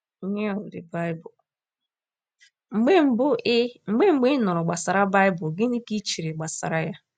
n of the Bible? Mgbe mbụ ị Mgbe mbụ ị nụrụ gbasara Baịbụl, gịnị ka i chere gbasara ya?